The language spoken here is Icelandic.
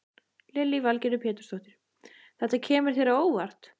Lillý Valgerður Pétursdóttir: Þetta kemur þér á óvart?